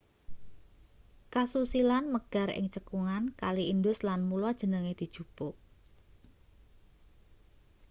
kasusilan megar ing cekungan kali indus lan mula jenenge dijupuk